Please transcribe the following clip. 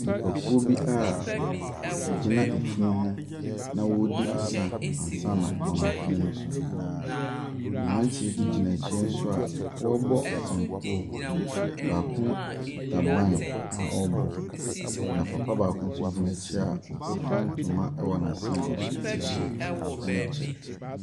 Nnipakuo bi a wogyina efunu ho na wɔredi asa ansana wɔama funu no so. Mmaranteɛ bi gyina akyire nso a wɔrebɔ nsɛnkuo. Baako kita ban a ɔrebɔ. Na papa baako nso gyina akyire a ofura ntoma wɔ n'asen a ɔhyɛ T-shirt ne kyɛ.